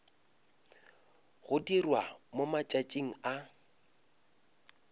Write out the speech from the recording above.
go dirwa mo matšatšing a